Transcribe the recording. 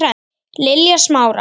Lilja Smára.